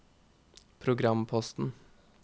programposten